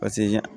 Paseke